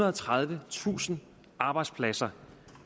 og tredivetusind arbejdspladser